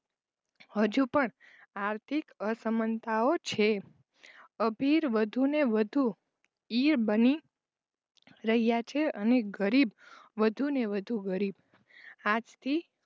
હજુ પણ આર્થિક અસમાનતાઓ છે. અભીર વધુ ને વધુ બની રહ્યા છે અને ગરીબ વધુ ને વધુ ગરીબ આજ થી